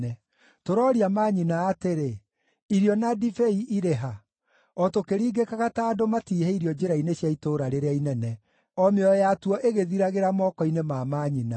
Tũrooria manyina atĩrĩ, “Irio na ndibei irĩ ha?” o tũkĩringĩkaga ta andũ matiihĩirio njĩra-inĩ cia itũũra rĩrĩa inene, o mĩoyo yatuo ĩgĩthiragĩra moko-inĩ ma manyina.